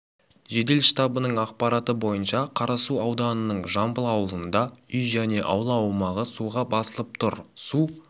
жедел штабының ақпараты бойынша қарасу ауданының жамбыл ауылында үй және аула аумағы суға басылып тұр су